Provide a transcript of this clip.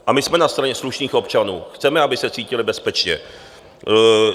A my jsme na straně slušných občanů, chceme, aby se cítili bezpečně.